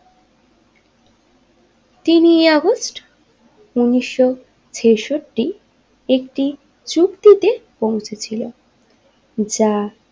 তিনই আগস্ট উনিশশো ছেষট্টি একটি উক্তিতে পৌঁছে ছিল যা।